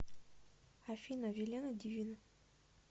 афина вилена дивина